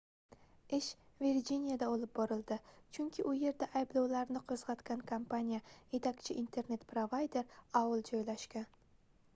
ish virjiniyada olib borildi chunki u yerda ayblovlarni qoʻzgʻatgan kompaniya yetakchi internet provayder aol joylashgan